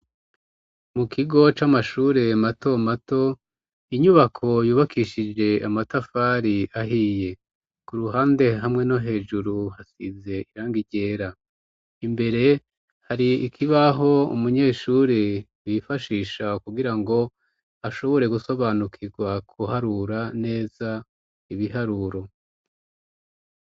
Mu kigo c'amashure mato mato inyubako yubakishije amatafari ahiye ku ruhande hamwe no hejuru hasize iranga ryera imbere hari ikibaho umunyeshuri yifashisha kugirango ashobore gusobanukirwa guharura neza ibiharuro.